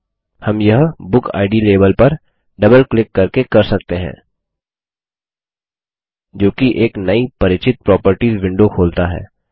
हम यह book id label पर डबल क्लिक करके कर सकते हैं जोकि एक नई परिचित प्रॉपर्टीज विंडो खोलता है